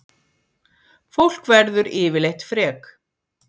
Fólk verður yfirleitt frek